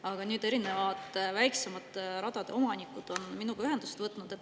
Aga nüüd on erinevad väiksemate radade omanikud minuga ühendust võtnud.